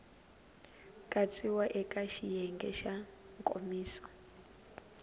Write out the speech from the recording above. katsiwa eka xiyenge xa nkomiso